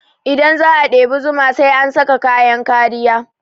Idan za a ɗebi zuma sai an saka kayan kariya